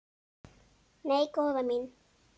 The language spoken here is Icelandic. Nei, góða mín.